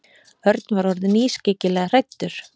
Örn var orðinn ískyggilega hræddur.